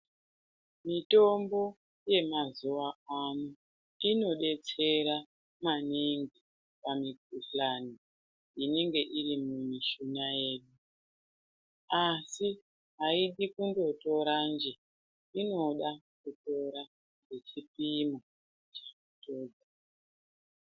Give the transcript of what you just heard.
Mitombo yemazuva ano inodetsera maningi pamikuhlani inenge iri mumishuna medu asi haidi kungotora nje inoda kutora ichipimwa.